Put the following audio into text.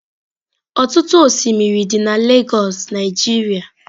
Ọtụtụ osimiri dị na Lagos Nigeria.